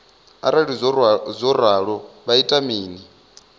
arali zwo ralo vha ita mini